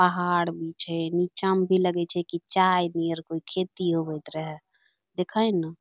पहाड़ भी छै नीचां म भी लगै छै कि चाय नियर कोय खेती होयत रहय देखैं ना।